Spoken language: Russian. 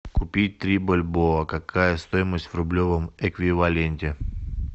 купить три бальбоа какая стоимость в рублевом эквиваленте